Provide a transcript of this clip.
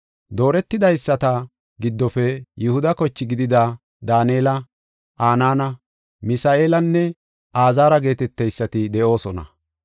Dooretidaysata giddofe Yihuda koche gidida Daanela, Anaana, Misa7eelanne Azaara geeteteysati de7oosona.